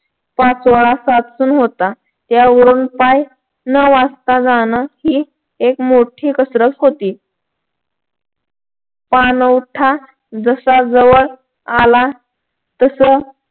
पाचोळा साचून होता त्याहून पाय न वाजता जाणं ही एक मोठी कसरत होती पाणवठा जसा जवळ आला तस